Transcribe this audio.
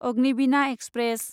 Agnibina express